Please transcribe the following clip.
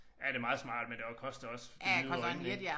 Ja det meget smart men det også koster også det hvide ud af øjnene ik